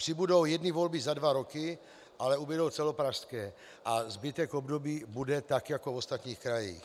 Přibudou jedny volby za dva roky, ale ubudou celopražské a zbytek období bude tak jako v ostatních krajích.